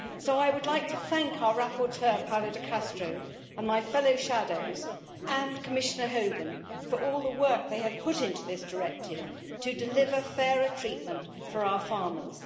I would like to thank our rapporteur Paolo De Castro and my fellow shadows, and Commissioner Hogan, for all the work they have put into this directive to deliver fairer treatment for our farmers.